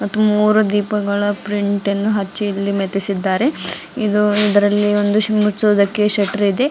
ಮೂರು ದೀಪಗಳ ಪ್ರಿಂಟನ್ನು ಹಚ್ಚಿ ಇಲ್ಲಿ ಮೆತ್ತಿಸಿದ್ದಾರೆ ಇದು ಇದ್ರಲ್ಲಿ ಒಂದು ಮುಚ್ಚೋದಕ್ಕೆ ಶೆಟರ್ ಇದೆ.